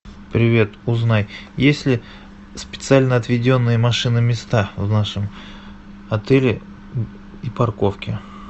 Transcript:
привет узнай есть ли специально отведенные машиноместа в нашем отеле и парковки